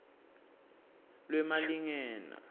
lwemalingena